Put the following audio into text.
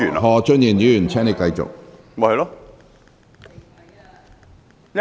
何俊賢議員，請繼續發言。